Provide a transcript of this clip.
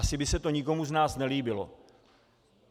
Asi by se to nikomu z nás nelíbilo.